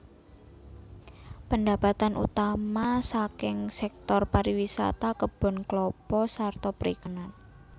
Pendapatan utama saking sektor pariwisata kebon klapa sarta perikanan